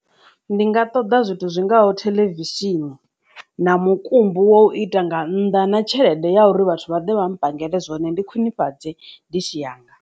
Ndi nga ṱoḓa zwithu zwingaho theḽevishini na mukumbu wo u ita nga nnḓa na tshelede ya uri vhathu vhaḓe vha ri pangele zwone ndi khwinifhadzee ditshi yanga.